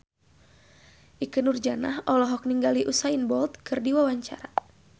Ikke Nurjanah olohok ningali Usain Bolt keur diwawancara